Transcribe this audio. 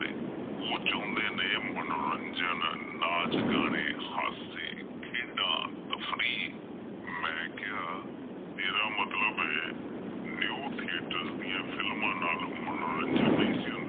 ਉਹ ਚਾਹੁੰਦੇ ਨੇ ਮਨੋਰੰਜਨ, ਨਾਚ, ਗਾਣੇ, ਹਾਸੇ, ਖੇਡਾਂ ਤਫ਼ਰੀਨ ਮੈਂ ਕਿਹਾ ਤੇਰਾ ਮਤਲਬ ਏ new theaters ਦੀਆਂ films ਨਾਲ ਮਨੋਰੰਜਨ ਨਹੀਂ ਸੀ ਹੁੰਦਾ ।